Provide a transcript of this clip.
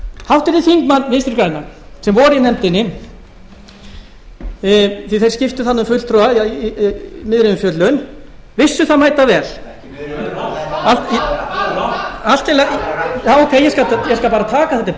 háttvirtir þingmenn vinstri grænna sem voru í nefndinni því þeir skiptu þar um fulltrúa í miðri umfjöllun vissu það mætavel ég skal bara taka það til